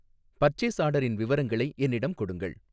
purchase ஆர்டரின் விவரங்களை என்னிடம் கொடுங்கள்